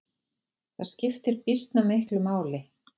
Það skiptir býsna miklu máli.